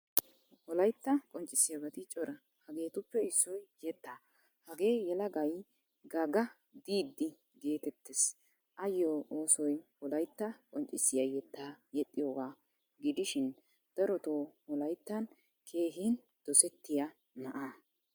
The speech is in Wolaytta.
Wolaytta qonccisiyaabati cora. Hegeetuppe issoy yeettaa. Hagee yelagay Gaga Didi getetees. Ayyo oosoy wolaytta qonccissiyaa yetta yexxiyoga gidishin darotto wolayttan keehin dosettiya na"aa.